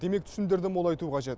демек түсімдерді молайту қажет